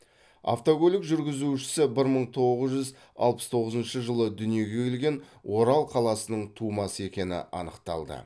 автокөлік жүргізушісі бір мың тоғыз жүз алпыс тоғызыншы жылы дүниеге келген орал қаласының тумасы екені анықталды